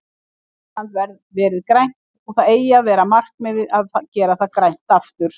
Ísland verið grænt og það eigi að vera markmið að gera það grænt aftur.